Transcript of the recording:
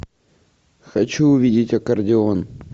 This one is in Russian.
хочу увидеть аккордеон